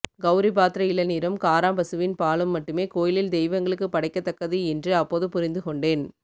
கௌரிபாத்ர இளநீரும் காராம்பசுவின் பாலும் மட்டுமே கோயிலில் தெய்வங்களுக்குப் படைக்கத்தக்கது என்று அப்போது புரிந்துகொண்டேன்